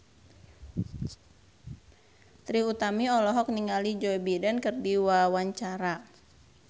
Trie Utami olohok ningali Joe Biden keur diwawancara